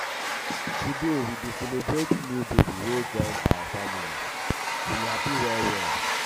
today we dey celebrate new baby wey join our family we happy well.